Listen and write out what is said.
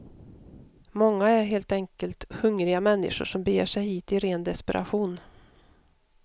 Många är helt enkelt hungriga människor som beger sig hit i ren desperation.